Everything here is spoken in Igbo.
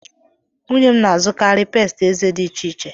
Nwunye m na-azụkarị pesti eze dị iche iche.